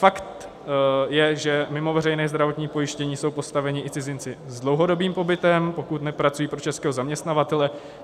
Fakt je, že mimo veřejné zdravotní pojištění jsou postaveni i cizinci s dlouhodobým pobytem, pokud nepracují pro českého zaměstnavatele.